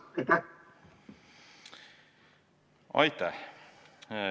Aitäh!